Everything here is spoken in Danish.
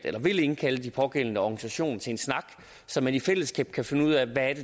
vil indkalde de pågældende organisationer til en snak så man i fællesskab kan finde ud af hvad